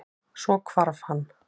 Svo hvarf hann.